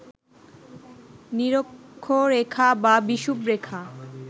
নিরক্ষরেখা বা বিষুবরেখা